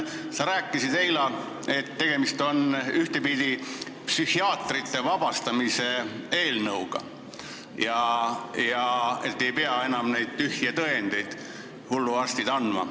Sa rääkisid eile, et tegemist on ühtepidi psühhiaatrite vabastamise eelnõuga, hulluarstid ei pea enam neid tühje tõendeid andma.